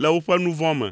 le woƒe nu vɔ̃ me.